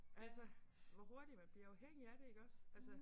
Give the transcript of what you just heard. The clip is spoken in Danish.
Altså hvor hurtigt man bliver afhængig af det iggås altså